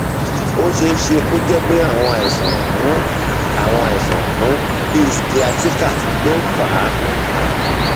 ó ṣeé ṣe kó jẹ pé àwọn àìsàn um àwọn àìsàn um bíi sciatica ló fà um á